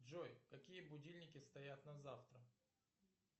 джой какие будильники стоят на завтра